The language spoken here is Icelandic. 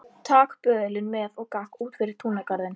Tak böðulinn með og gakk út fyrir túngarðinn.